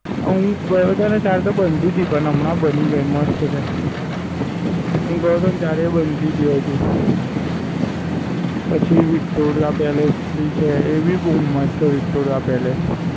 અને હું ગયો હતો ને ત્યારે તો બનતી પણ હમણાં બની ગયું મસ્ત છે. હું ગયો હતો ત્યારે એ બનતી હતું હજુ. પછી Victoria palace ભી છે એ ભી બવ મસ્ત Victoria palace